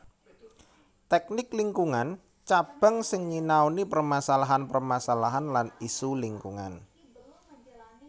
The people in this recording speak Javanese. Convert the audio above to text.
Tèknik Lingkungan Cabang sing nyinaoni permasalahan permasalahan lan isu lingkungan